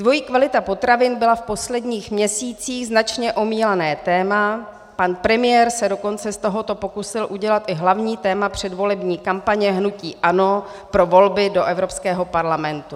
Dvojí kvalita potravin byla v posledních měsících značně omílané téma, pan premiér se dokonce z tohoto pokusil udělat i hlavní téma předvolební kampaně hnutí ANO pro volby do Evropského parlamentu.